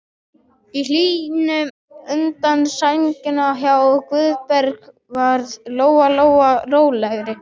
Í hlýjunni undir sænginni hjá Guðbergi varð Lóa Lóa rólegri.